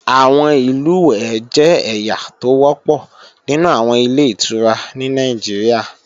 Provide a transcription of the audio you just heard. Àwọn ìlùwẹ̀ẹ̀ jẹ́ ẹ̀yà tó wọ́pọ̀ nínú àwọn Ilé-ìtura ní Nàìjíríà